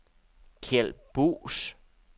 Kjeld Buus